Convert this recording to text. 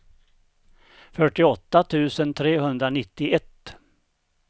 fyrtioåtta tusen trehundranittioett